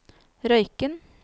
Røyken